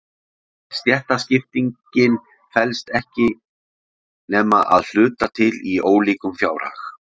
Stéttaskiptingin felst ekki nema að hluta til í ólíkum fjárhag.